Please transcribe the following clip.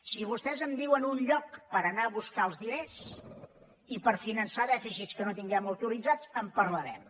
si vostès em diuen un lloc per anar a buscar els diners i per finançar dèficits que no tinguem autoritzats en parlarem